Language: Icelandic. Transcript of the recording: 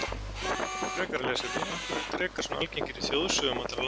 Frekara lesefni Af hverju eru drekar svona algengir í þjóðsögum allra landa?